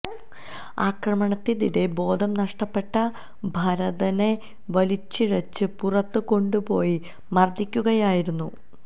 അക്രമത്തിനിടെ ബോധം നഷ്ടപ്പെട്ട ഭരതനെ വലിച്ചിഴച്ച് പുറത്ത് കൊണ്ടുപോയി മര്ദ്ദിക്കുകയായിരുന്നു